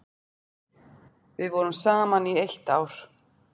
Við vorum saman í eitt ár.